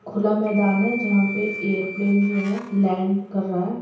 खुला मैदान है जहां पे जो है ऐरोप्लेन जो है लैंड कर रहा है।